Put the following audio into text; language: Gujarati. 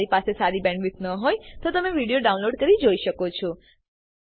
જો તમારી પાસે સારી બેન્ડવિડ્થ ન હોય તો તમે વિડીયો ડાઉનલોડ કરીને જોઈ શકો છો